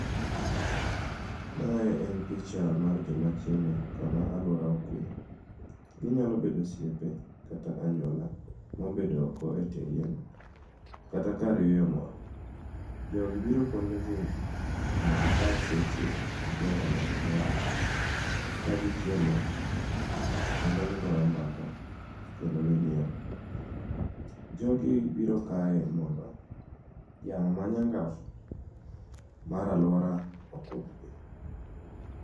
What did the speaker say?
Mae en picha mar joma chiemo kama aluora okue. Ginyalo bedo osiepe kata anyuola mobedo oko e tie yien. Kata kar yueyo moro. Jogi biro kuondegi mondo gikaw seche gi jogo magihero kagichiemo kendo gigoyo mbakakendo ginyiero. Jogi biro kae mondo yamo manyangaf mar alora okudhgi.